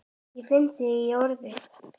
Ég finn þig í orðinu.